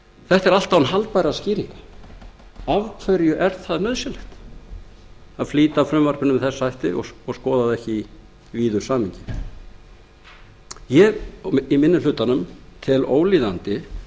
þetta er allt án haldbærra skýringa af hverju er það nauðsynlegt að flýta frumvarpinu með þessum hætti og skoða það ekki í víðu samhengi minni hlutinn telur að það sé ólíðandi